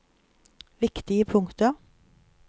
viktige punkter